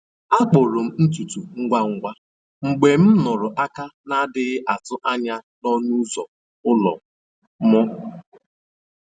A kpụrụ m ntutu ngwa ngwa mgbe m nụrụ aka na-adịghị atụ anya n’ọnụ ụzọ ụlọ m